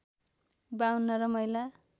५२ र महिला